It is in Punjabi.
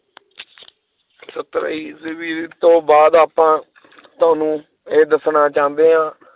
ਸੱਤਰ ਈਸਵੀ ਤੋਂ ਬਾਅਦ ਆਪਾਂ ਤੁਹਾਨੂੰ ਇਹ ਦੱਸਣਾ ਚਾਹੰਦੇ ਹਾਂ